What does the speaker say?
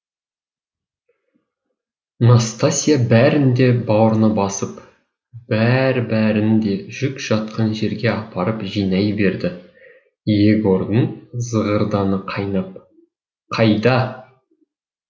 настасья бәрін де баурына басып бәрі бәрін де жүк жатқан жерге апарып жинай берді егордың зығырданы қайнап қайда